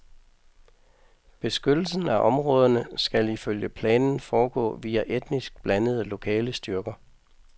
Beskyttelsen af områderne skal ifølge planen foregå via etnisk blandede lokale styrker.